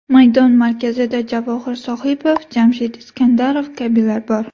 Maydon markazida Javohir Sohibov, Jamshid Iskandarov kabilar bor.